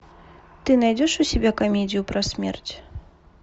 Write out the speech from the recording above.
ты найдешь у себя комедию про смерть